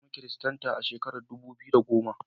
Na zama kiristanta a shekarar dubu biyu da goma.